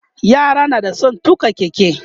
yara na da San tuƙa keke